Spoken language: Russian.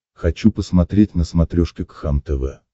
хочу посмотреть на смотрешке кхлм тв